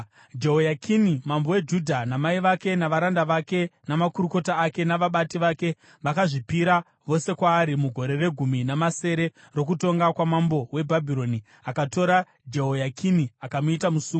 Jehoyakini mambo weJudha, namai vake, navaranda vake, namakurukota ake, navabati vake vakazvipira vose kwaari. Mugore regumi namasere rokutonga kwamambo weBhabhironi, akatora Jehoyakini akamuita musungwa.